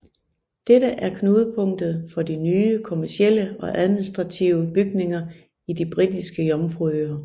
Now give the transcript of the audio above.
Dette er knudepunktet for de nye kommercielle og administrative bygninger i de Britiske Jomfruøer